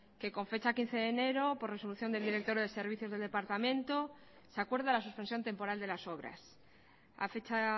que con fecha quince de enero por resolución del director de servicios del departamento se acuerda la suspensión temporal de las obras a fecha